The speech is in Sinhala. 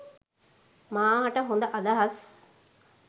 මා හට හොද අදහස්